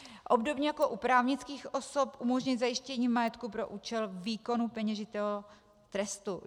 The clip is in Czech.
Obdobně jako u právnických osob umožnit zajištění majetku pro účel výkonu peněžitého trestu.